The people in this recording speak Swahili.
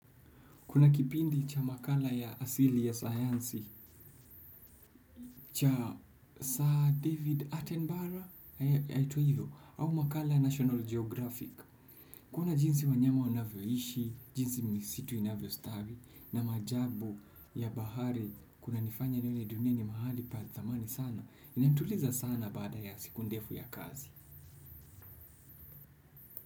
Kuna kipindi cha makala ya asili ya sayansi, cha Sir David Attenborough, yaitwa hivyo, au makala ya National Geographic. Kuna jinsi wanyama wanavyoishi, jinsi misitu inavyostawi, na maajabu ya bahari, kunanifanya nione dunia ni mahali pa thamani sana, inanituliza sana baada ya siku ndefu ya kazi.